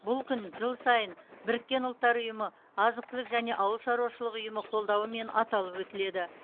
бұл күн жыл сайын біріккен ұлттар ұйымы азық түлік және ауылшаруашылық ұйымы қолдауымен аталып өтіледі